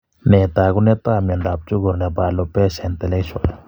Nee taakunetaab myondap chukur nebo Alopecia intellectual?